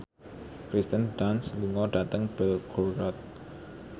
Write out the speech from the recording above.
Kirsten Dunst lunga dhateng Belgorod